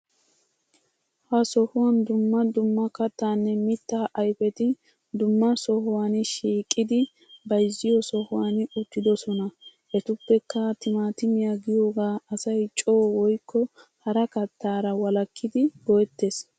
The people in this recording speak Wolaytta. Ha sohuwan dumma dumma kattaanne miita ayfeti dumma sohuhan shiiqidi bayzziyo sohuwan uttidosona. Etuppekka timaatiya giyoogaa asay coo woykko hara kattaara wolakkidi go'ettes.